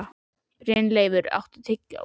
Brynleifur, áttu tyggjó?